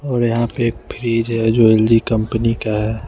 और यहां पे एक फ्रिज है जो एल_जी कंपनी का है।